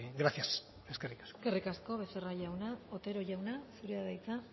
gracias eskerrik asko eskerrik asko becerra jauna otero jauna zurea da hitza